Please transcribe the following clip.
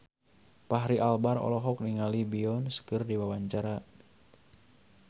Fachri Albar olohok ningali Beyonce keur diwawancara